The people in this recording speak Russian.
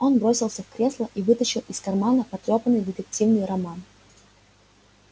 он бросился в кресло и вытащил из кармана потрёпанный детективный роман